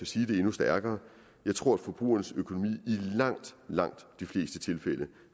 sige det endnu stærkere jeg tror at forbrugernes økonomi i langt langt de fleste tilfælde